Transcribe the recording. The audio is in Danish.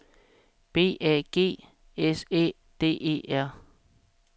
B A G S Æ D E R